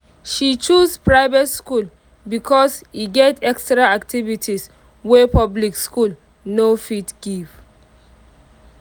she choose private school because e get extra activities wey public school no fit give